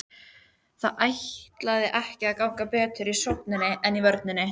Það ætlaði ekki að ganga betur í sókninni en vörninni.